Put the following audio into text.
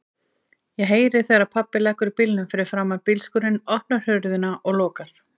Ég heyri þegar pabbi leggur bílnum fyrir framan bílskúrinn, opnar hurðina og lokar.